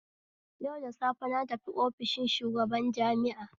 Yau da safe natafi ofishin shugaban jami'a